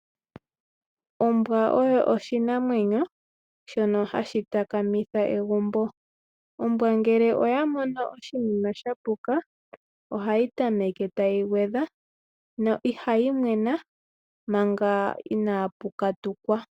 Ombwa oyo oshinamwenyo shono hashi takamitha egumbo. Ombwa ngele oya mono oshinima sha puka ohayi tameke tayi gwedha no ihayi mwena manga inaapu katukwa.